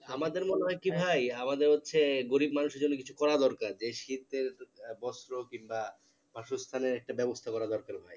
আমাদের মনে হয় কি ভাই, আমাদের হচ্ছে গরিব মানুষের জন্য কিছু করা দরকার, যে শীতের বস্ত্র কিংবা বাসস্থানের একটা ব্যবস্থা করা দরকার